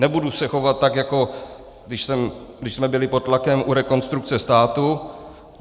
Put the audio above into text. Nebudu se chovat tak, jako když jsme byli pod tlakem u Rekonstrukce státu.